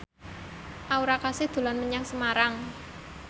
Aura Kasih dolan menyang Semarang